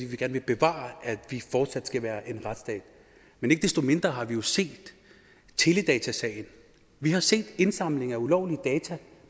vil gerne bevare at vi fortsat er en retsstat men ikke desto mindre har vi jo set teledatasagen vi har set indsamling af ulovlig